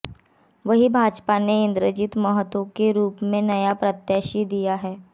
वहीं भाजपा ने इंद्रजीत महतो के रूप में नया प्रत्याशी दिया है